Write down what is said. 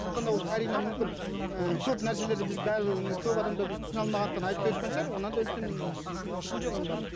сондықтан да ол карина мүмкін ыыы көп нәрселерді біз бәрібір көп адамдар біз түсіне алмағандықтан айтпай шығар одан да үлкен біздің ішінде оның барлығы